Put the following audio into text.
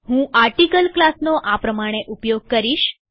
હું આર્ટીકલ ક્લાસનો ઉપયોગ કરીશ